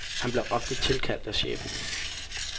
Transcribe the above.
Han bliver ofte tilkaldt af chefen.